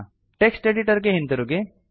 text editor ಗೆ ಹಿಂತಿರುಗಿ